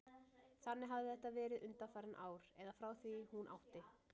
Þannig hafði þetta verið undanfarin ár, eða frá því hún átti